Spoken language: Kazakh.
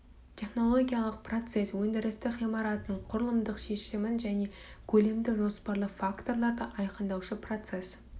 технологиялық процесс өндірістік ғимараттың құрылымдық шешімін және көлемді жоспарлы факторларды айқындаушы процесс